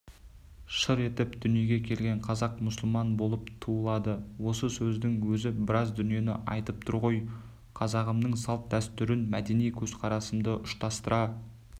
шыр етіп дүниеге келген қазақ мұсылман болып туылады осы сөздің өзі біраз дүниені айтып тұр ғой қазағымның салт-дәстүрін мәдени көзқарасымды ұштастыра